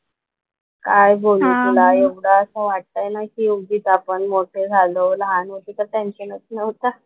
काय बोलू तुला एवढं असं वाटतंय ना कि उगीच आपण मोठे झालो. लहान होतो तर टेन्शनच नव्हतं.